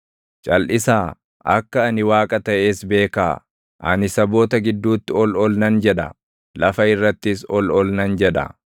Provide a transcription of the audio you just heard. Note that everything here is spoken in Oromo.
“Calʼisaa; akka ani Waaqa taʼes beekaa; ani saboota gidduutti ol ol nan jedha; lafa irrattis ol ol nan jedha.”